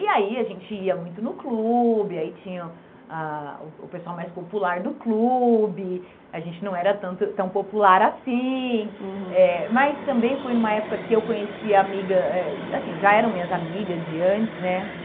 E aí, a gente ia muito no clube, aí tinha ah o o pessoal mais popular do clube, a gente não era tanto tão popular assim, uhum, eh mas também foi numa época que eu conheci a amiga eh, assim, já eram minhas amigas de antes, né?